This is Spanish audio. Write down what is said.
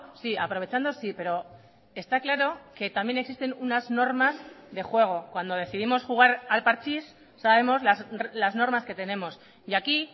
sí aprovechando sí pero está claro que también existen unas normas de juego cuando decidimos jugar al parchís sabemos las normas que tenemos y aquí